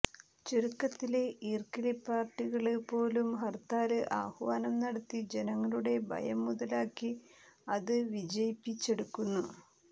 ചുരുക്കത്തില് ഈര്ക്കിള് പാര്ട്ടി കള് പോലും ഹര്ത്താല് ആ ഹ്വാനം നടത്തി ജനങ്ങളുടെ ഭയം മുതലാക്കി അത് വിജയിപ്പിച്ചെടുക്കുന്നു